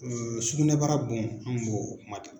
Sugunɛbara bon an kun b'o kuma de la.